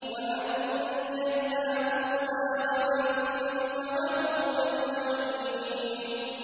وَأَنجَيْنَا مُوسَىٰ وَمَن مَّعَهُ أَجْمَعِينَ